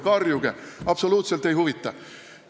Karjuge, mind absoluutselt ei huvita.